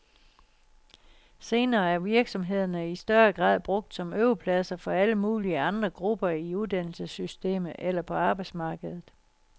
Senere er virksomhederne i større grad brugt som øvepladser for alle mulige andre grupper i uddannelsessystemet eller på arbejdsmarkedet.